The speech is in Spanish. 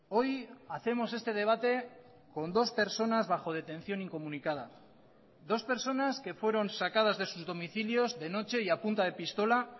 hoy hacemos este debate con dos personas bajo detención incomunicada dos personas que fueron sacadas de sus domicilios de noche y a punta de pistola